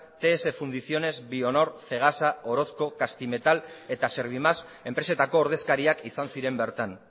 ts fundiciones bionor cegasa orozco castimetal eta servimás enpresetako ordezkariak izan ziren bertan